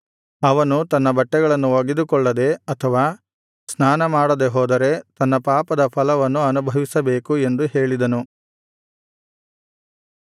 ಅವನು ತನ್ನ ಬಟ್ಟೆಗಳನ್ನು ಒಗೆದುಕೊಳ್ಳದೆ ಅಥವಾ ಸ್ನಾನ ಮಾಡದೆ ಹೋದರೆ ತನ್ನ ಪಾಪದ ಫಲವನ್ನು ಅನುಭವಿಸಬೇಕು ಎಂದು ಹೇಳಿದನು